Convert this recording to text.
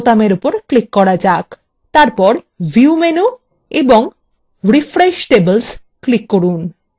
তারপর view menu এবং refresh tables click করুন